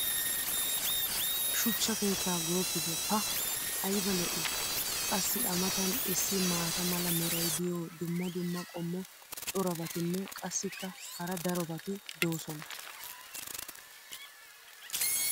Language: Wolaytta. shuchcha keettaa goopite pa ayba lo'ii! qassi a matan issi maata mala meray diyo dumma dumma qommo corabatinne qassikka hara darobatti doosona